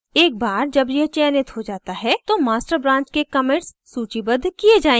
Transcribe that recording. एक बार जब यह चयनित हो जाता है तो master branch के commits सूचीबद्ध किए जायेंगे